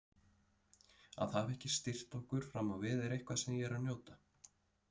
Að hafa ekki styrkt okkur fram á við er eitthvað sem ég er að njóta.